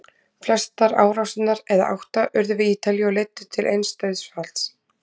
Flestar árásirnar, eða átta, urðu við Ítalíu og leiddu til eins dauðsfalls.